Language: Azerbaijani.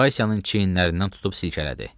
Vasyanın çiyinlərindən tutub silkələdi.